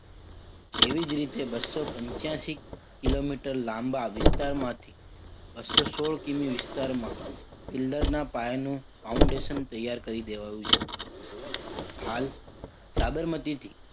તેવી જ રીતે બસો પંચાશી કિલોમીટર લાંબા વિસ્તારમાંથી બસો સોળ કિમી વિસ્તારમાં pillar ના પાયાનું foundation તૈયાર કરી દેવાયું છે. હાલ સાબરમતીથી